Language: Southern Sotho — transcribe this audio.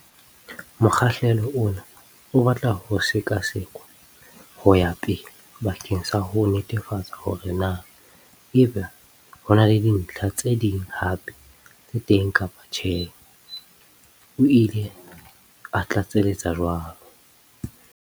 Mokgahlelo ona o batla ho sekasekwa ho ya pele bakeng sa ho netefatsa hore na ebe ho na le dintlha tse ding hape tse teng kapa tjhe, o ile a tlatseletsa jwalo.